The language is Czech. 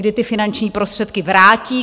Kdy ty finanční prostředky vrátí?